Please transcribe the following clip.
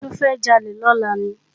Ṣofẹ́ jalè lọ́la ni?